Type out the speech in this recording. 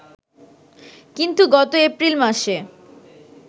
কিন্তু গত এপ্রিল মাসে